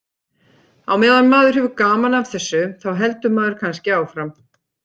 Á meðan maður hefur gaman af þessu þá heldur maður kannski áfram.